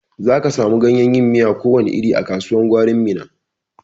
Za ka samu ganyen yin miya ko wani iri a kasuwan gwarin Minna.